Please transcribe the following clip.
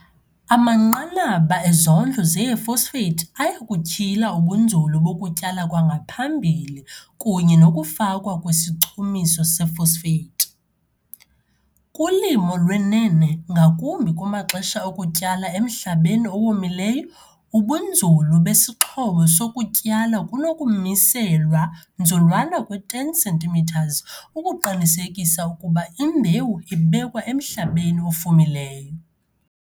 Amanqanaba ezondlo zee-phosphate aya kutyhila ubunzulu bokutyala kwangaphambili kunye nokufakwa kwesichumiso se-phosphate. Kulimo lwenene ngakumbi kumaxesha okutyala emhlabeni owomileyo, ubunzulu besixhobo sokutyala kunokumiselwa nzulwana kwi-10 cm ukuqinisekisa ukuba imbewu ibekwa emhlabeni ofumileyo.